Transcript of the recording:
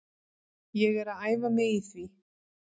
Ég er að æfa mig í því.